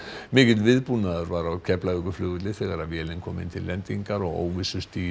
mikill viðbúnaður var á Keflavíkurflugvelli þegar vélin kom inn til lendingar og